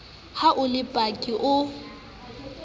ha o le paki o